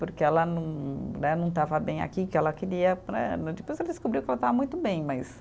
Porque ela não né, não estava bem aqui, que ela queria né né. Depois ela descobriu que ela estava muito bem, mas